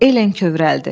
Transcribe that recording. Elen kövrəldi.